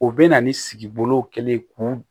O bɛ na ni sigi bolow kɛlen ye k'u